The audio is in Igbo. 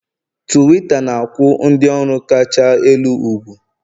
Tuwiita na-akwụ ndị ọrụ kacha elu ugwu